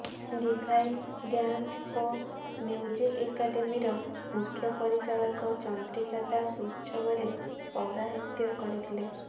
divine dance ଓ music ଏକାଡେମୀର ମୁଖ୍ୟ ପରିଚାଳକ ଚନ୍ଦ୍ରିକା ଦାଶ ଉତ୍ସବରେ ପୌରାହିତ୍ୟ କରିଥିଲେ